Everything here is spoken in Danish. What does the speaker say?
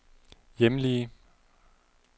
hjemlige